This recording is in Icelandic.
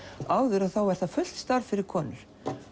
áður var það fullt starf fyrir konur